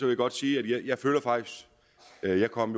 jeg godt sige at jeg jo kom